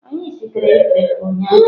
Anyị sitere efefe ụnyahụ.